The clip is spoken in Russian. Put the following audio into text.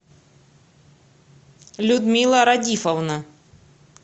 людмила радифовна